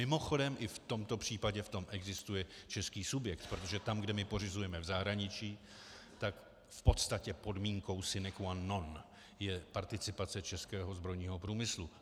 Mimochodem, i v tomto případě v tom existuje český subjekt, protože tam, kde my pořizujeme v zahraničí, tak v podstatě podmínkou sine qua non je participace českého zbrojního průmyslu.